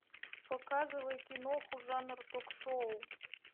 показывай киноху жанр ток шоу